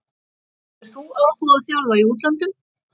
Hefur þú áhuga á að þjálfa í útlöndum?